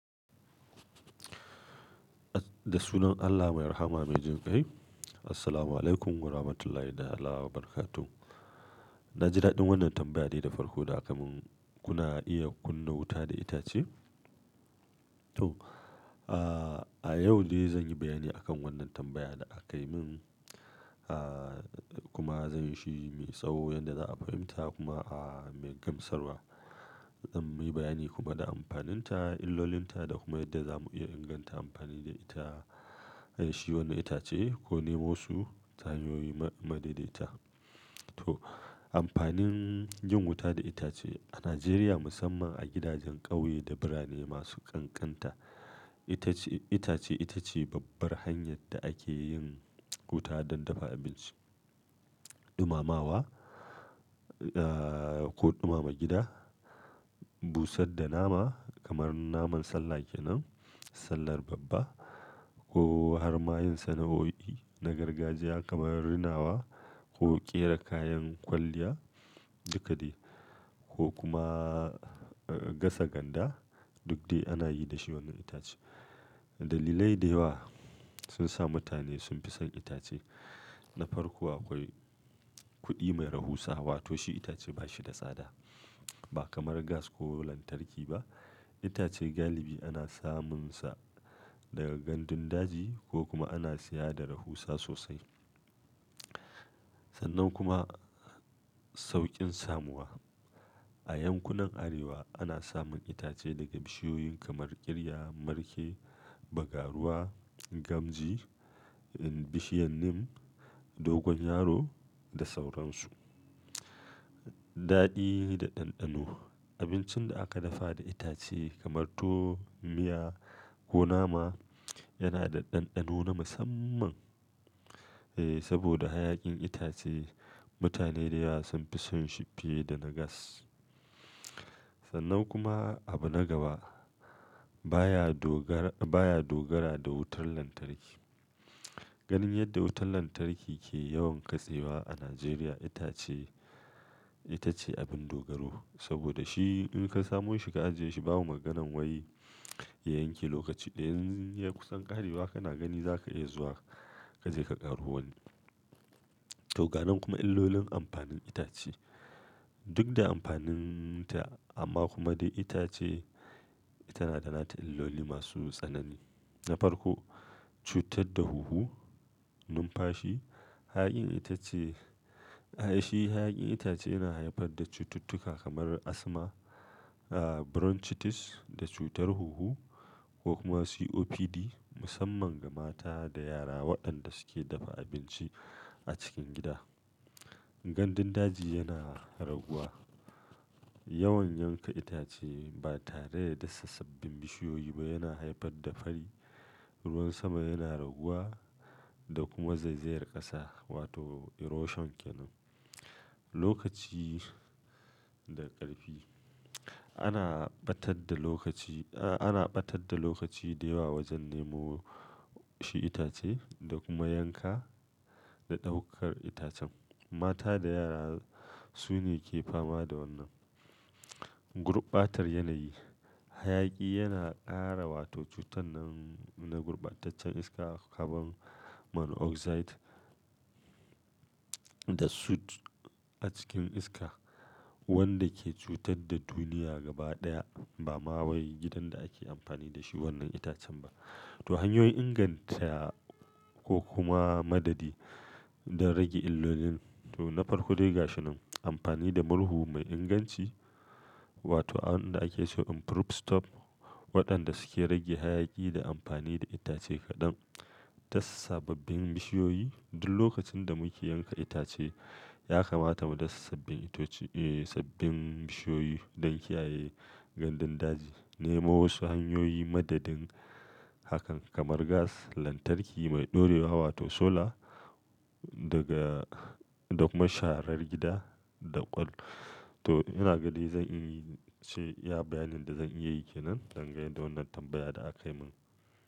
Da sunan Allah mai rahama mai jin kai. Assalamualaikum Warahmatullahi ta'ala Wabarakatuh. Na ji daɗin wannan tambaya da farko da aka mun. Kuna iya kunna wuta da itace? To, a yau ne zan yi bayani akan wannan tambayan da aka yi min, ahhh kuma zan yi shi mai tsawo yadda za a fahimta kuma a mai gamsarwa. Zan yi bayani kuma da amfaninta, illolinta da kuma yadda za mu iya inganta amfani da ita. Shi wannan itace ko nemosu tahanyoyi madaidaita. To, amfanin yin wuta da itace a Najeriya musamman a gidajen ƙauye da birane masu ƙanƙanta. Itace, itace ita ce babbar hanyar da ake yin wuta don dafa abinci, ɗumamawa ehhh ko ɗumama gida, busar da nama kamar naman sallah kenan, sallar babba ko har ma yin sana'o'i na gargajiya kamar rinawa ko ƙera kayan kwalliya duk da yake ko kuma gasa ganda duk dai ana yi da shi wannan itace. Dalilai da yawa sun sa mutane sun fi son itace. Na farko akwai kuɗi mai rahusa, wato shi itace ba shi da tsada ba kamar gas ko lantarki ba. Itace galibi ana samunsa daga gandun daji ko kuma ana siya da rahusa sosai. Sannan kuma sauƙin samuwa. A yankunan Arewa ana samun itace daga bishiyoyin kamar ƙirya, markae bagaruwa, gamji, bishiyar nim, dogon yaro da sauransu. Daɗi da ɗanɗano. Abincin da aka dafa da itace kamar to, miya ko nama yana da ɗanɗano na musamman. Eh, saboda hayakin itace mutane da yawa sun fi son shi fiye da na gas. Sannan kuma abu na gaba baya dogara, baya dogara da wutar lantarki. Ganin yadda wutar lantarki ke yawan katsewa a Najeriya itace, ita ce abin dogaro saboda shi in ka samo shi ka ajiye shi babu maganan wai ya yanke lokaci ɗaya. In ya kusan ƙarewa kana gani za ka iya zuwa ka je ka ƙaro wani. To, ga nan kuma illolin amfanin itace. Duk da amfaninta amma kuma dai ita ce tana da nata illoli masu tsanani. Na farko, cutar da huhu, numfashi. Hayakin itace, ai shi hayakin itace yana haifar da cututtuka kamar asma, bronchitis da cutar huhu ko kuma COPD musamman ga mata da yara waɗanda suke dafa abinci a cikin gida. Gandun daji yana raguwa. Yawan yanka itace ba tare da dasa sabbin bishiyoyi ba yana haifar da fari. Ruwan sama yana raguwa da kuma zaizayar ƙasa wato erosion kenan. Lokaci da ƙarfi. Ana ɓatar da lokaci, a ana ɓatar da lokaci da yawa wajen nemo shi itace da kuma yanka da ɗaukar itacen. Mata da yara su ne ke fama da wannan. Gurɓatar yanayi. Hayaki yana ƙara wato cutar nan na gurɓataccen iska kamar carbon monoxide da soot a cikin iska wanda ke cutar da duniya gaba ɗaya ba ma wai gidan da ake amfani da shi wannan itacen ba. To, hanyoyin inganta ko kuma madadi don rage illolin. To, na farko dai ga shi nan amfani da murhu mai inganci wato abin da ake cewa improve stop waɗanda suke rage hayaki da amfani da itace kaɗan. Du sababbin bishiyoyi duk lokacin da muke yanka itace ya kamata mu dasa sabbin itoci eh sabbin bishiyoyi don kiyaye gandun daji. Nemo wasu hanyoyi madadin hakan kamar gas, lantarki mai ɗorewa wato solar daga da kuma sharar gida da ƙwal. To, yana gani zan iya ce iya bayanin da zan iya yi kenan dangane da wannan tambaya da aka yi min.